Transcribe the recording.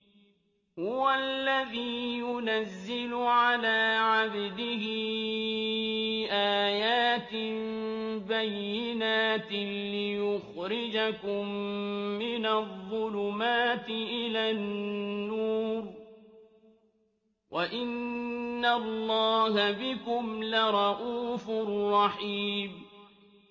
هُوَ الَّذِي يُنَزِّلُ عَلَىٰ عَبْدِهِ آيَاتٍ بَيِّنَاتٍ لِّيُخْرِجَكُم مِّنَ الظُّلُمَاتِ إِلَى النُّورِ ۚ وَإِنَّ اللَّهَ بِكُمْ لَرَءُوفٌ رَّحِيمٌ